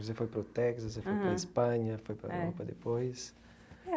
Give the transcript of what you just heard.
Você foi para o Texas, você foi para a Espanha, foi para a Europa depois.